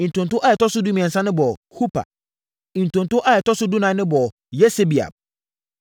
Ntonto a ɛtɔ so dumiɛnsa no bɔɔ Hupa. Ntonto a ɛtɔ so dunan no bɔɔ Yesebeab.